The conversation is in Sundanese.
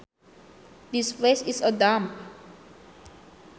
This place is a dump